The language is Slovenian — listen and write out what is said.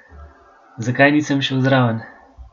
Zakaj nisem šel zraven?